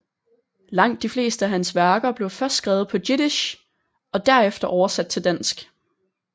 Langt de fleste af hans værker blev først skrevet på jiddisch og derefter oversat til dansk